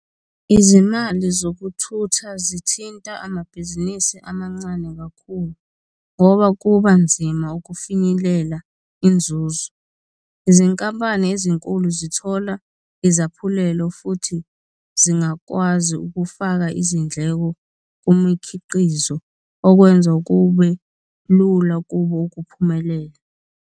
Izimali zokuthutha zithinta amabhizinisi amancane kakhulu ngoba kuba nzima ukufinyelela inzuzo. Izinkampani ezinkulu zithola izaphulelo futhi zingakwazi ukufaka izindleko kumikhiqizo, okwenza kube lula kubo ukuphumelela.